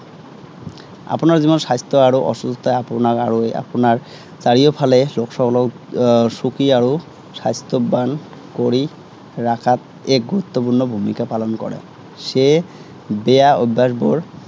আপোনাৰ যিমান স্বাস্থ্য় আৰু অসুস্থতাই আপোনাক আৰু আপোনাৰ চাৰিওফালে সকলো সুখী আৰু স্বাস্থ্য়ৱান কৰি ৰখাত এক গুৰুত্বপূৰ্ণ ভূমিকা পালন কৰে। সেয়ে বেয়া অভ্য়াসবোৰ